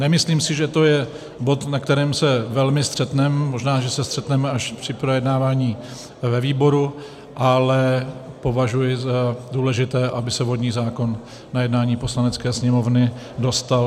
Nemyslím si, že to je bod, na kterém se velmi střetneme, možná, že se střetneme až při projednávání ve výboru, ale považuji za důležité, aby se vodní zákon na jednání Poslanecké sněmovny dostal.